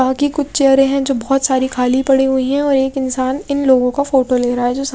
बाकी कुछ चेयरें हैं जो बहुत सारी खाली पड़ी हुई हैं और एक इंसान इन लोगों का फोटो ले रहा है जो सा--